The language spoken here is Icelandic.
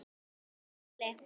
Takk Palli.